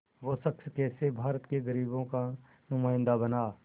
वो शख़्स कैसे भारत के ग़रीबों का नुमाइंदा बना